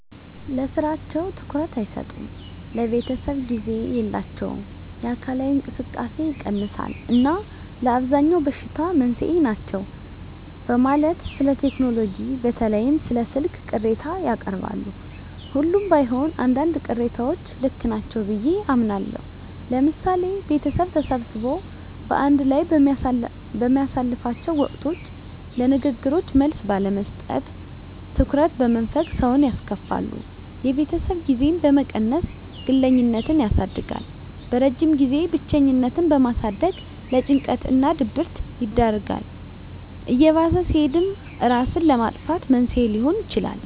ለስራቸው ትኩረት አይሰጡም፣ ለቤተሰብ ጊዜ የላቸውም፣ የአካላዊ እንቅስቃሴ ይቀንሳል እና ለአብዛኛው በሽታ መንስኤ ናቸው በማለት ስለቴክኖሎጂ በተለይም ስለ ስልክ ቅሬታ ያቀርባሉ። ሁሉም ባይሆን አንዳንድ ቅሬታዎች ልክ ናቸው ብየ አምናለሁ። ለምሳሌ ቤተሰብ ተሰብስቦ በአንድ ላይ በሚያሳልፍላቸው ወቅቶች ለንግግሮች መልስ ባለመስጠት፣ ትኩረት በመንፈግ ሰውን ያስከፋሉ። የቤተሰብ ጊዜን በመቀነስ ግለኝነትን ያሳድጋል። በረጅም ጊዜም ብቸኝነትን በማሳደግ ለጭንቀት እና ድብረት ይዳርጋል። እየባሰ ሲሄድም እራስን ለማጥፋት መንስኤ ሊሆን ይችላል።